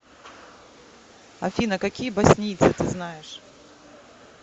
афина какие боснийцы ты знаешь